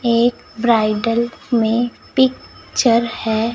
एक ब्राइडल में picture है।